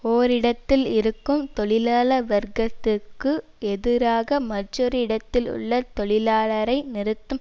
ஓரிடத்தில் இருக்கும் தொழிலாள வர்க்கத்திற்கு எதிராக மற்றோர் இடத்தில் உள்ள தொழிலாளரை நிறுத்தும்